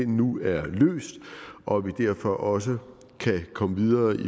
nu er løst og vi derfor også kan komme videre